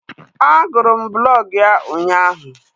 A gụrụ m blọg ya ụnyaahụ